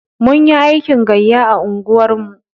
Munyi aikin gayya a unguwar mu.